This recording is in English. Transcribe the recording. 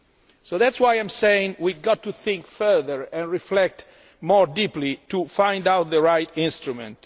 So that is why I am saying we have to think further and reflect more deeply to find out which is the right instrument.